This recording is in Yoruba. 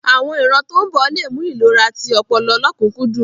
Àwon ìran tó ń bọ̀ le mú ìlera ti ọpọlọ lọ́kùnkúndùn.